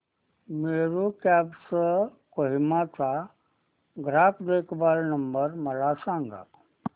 Meru cabs Kohima चा ग्राहक देखभाल नंबर मला सांगा